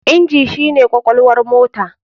Inji shi ne kwakwalwar motar.